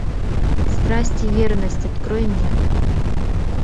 страсть и верность открой мне